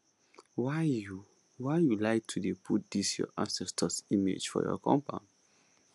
why you why you like to dey put this your ancestors image for your compound